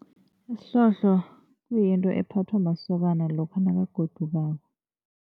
Isihlohlo kuyinto ephathwa masokana lokha nakagodukako.